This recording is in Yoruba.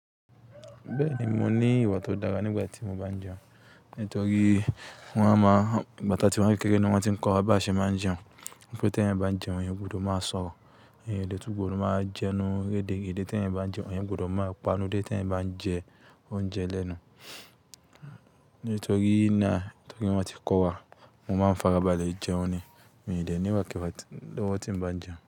Bẹ́ẹ̀ni, mo ní ìwà tó dára nígbà tí mo bá ń jẹun. Nítorí wọ́n a máa, igba ti a tí wa ni kékeré ni wọ́n tí ń kọ́ wa bí a ṣe máa ń jẹun. Wípé tí eeyan bá ń jẹun eeyan ó gbudo máa sọ̀rọ̀, eeyan o de tun gbodò máa jẹnu rederede, tí eeyan bá ń jẹun eeyan gbudò máa pa enu de. Tí eeyan bá ń jẹ oúnjẹ lẹ́nu. Nítorí náà, tori wọ́n ti kọ́ wa, mo máa ń farabalẹ̀ jẹun ni mi ì dè nii mo kíwa ti lowo ti ń bá jẹun.